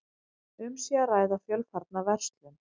Um sé að ræða fjölfarna verslun